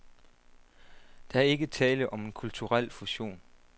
Der er ikke tale om en kulturel fusion.